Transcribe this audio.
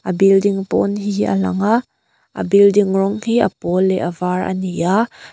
a building pawn hi a lang a a building rawng hi a pawl leh avar a ni a--